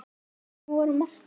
Hvernig voru mörkin?